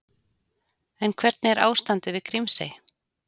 En hvernig er ástandið við Grímsey?